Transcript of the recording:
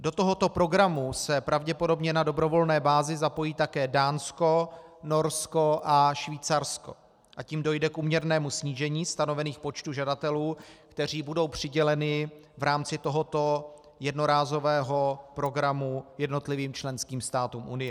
Do tohoto programu se pravděpodobně na dobrovolné bázi zapojí také Dánsko, Norsko a Švýcarsko, a tím dojde k úměrnému snížení stanovených počtů žadatelů, kteří budou přiděleni v rámci tohoto jednorázového programu jednotlivým členským státům Unie.